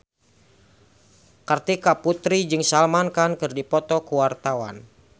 Kartika Putri jeung Salman Khan keur dipoto ku wartawan